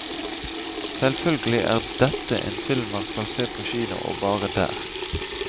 Selvfølgelig er dette en film man skal se på kino, og bare der.